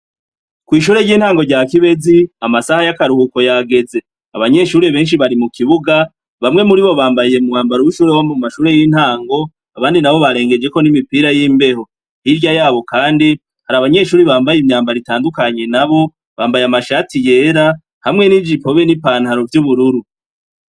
Kw'ishure ry'intango rya Kibezi, amasaha y'akaruhuko yageze. Abanyeshure benshi bari mu kibuga, bamwe muri bo bambaye umwambaro w'ishure wo mu mashure y'intango, abandi nabo barengejeko n'imipira y'imbeho. Hirya yabo kandi hari abanyeshure bambaye imyambaro itandukanye nabo, bambaye amashati yera, hamwe n'ijipo hamwe n'ipantaro vy'ubururu.